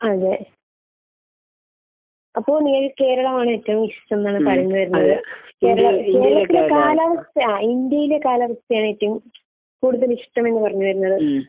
അതെ. അപ്പോൾ കേരളമാണ് ഏറ്റവും ഇഷ്ടം എന്നാണ് പറഞ്ഞ് വരുന്നത്. കേര കേരളത്തിലെ കാലാവസ്ഥ ഇന്ത്യയിലെ കാലാവസ്ഥയാണ് ഏറ്റവും കൂടുതൽ ഇഷ്ടമെന്ന് പറഞ്ഞ് വരുന്നത്.